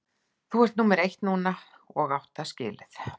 Þú ert númer eitt núna og átt það skilið.